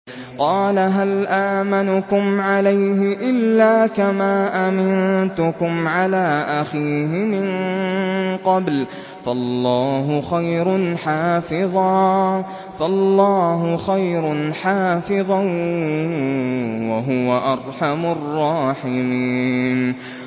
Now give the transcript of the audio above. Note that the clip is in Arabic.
قَالَ هَلْ آمَنُكُمْ عَلَيْهِ إِلَّا كَمَا أَمِنتُكُمْ عَلَىٰ أَخِيهِ مِن قَبْلُ ۖ فَاللَّهُ خَيْرٌ حَافِظًا ۖ وَهُوَ أَرْحَمُ الرَّاحِمِينَ